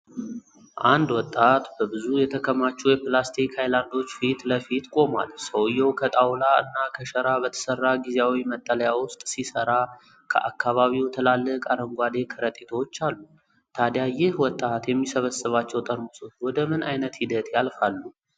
አንድ ወጣት በብዙ የተከማቹ የፕላስቲክ ሃይላንዶች ፊት ለፊት ቆሟል። ሰውዬው ከጣውላ እና ከሸራ በተሰራ ጊዜያዊ መጠለያ ውስጥ ሲሰራ፣ ከአካባቢው ትላልቅ አረንጓዴ ከረጢቶች አሉ። ታዲያ ይህ ወጣት የሚሰበስባቸው ጠርሙሶች ወደ ምን ዓይነት ሂደት ያልፋሉ?